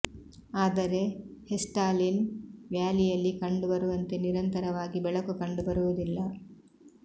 ಅದರೆ ಹೆಸ್ಡಾಲಿನ್ ವ್ಯಾಲಿಯಲ್ಲಿ ಕಂಡು ಬರುವಂತೆ ನಿರಂತರವಾಗಿ ಬೆಳಕು ಕಂಡು ಬರುವುದಿಲ್ಲ